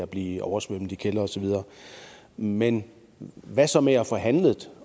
bliver oversvømmet men hvad så med at få handlet